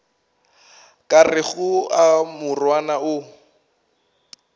ka rego a morwana o